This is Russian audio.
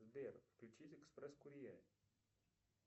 сбер включить экспресс курьер